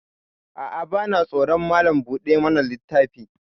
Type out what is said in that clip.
A'a, vana tsoron Malam buɗa mana littafi.